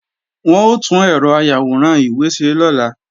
Wọ́n ó tún ẹ̀rọ ayàwòrán ìwé ṣe lọ́la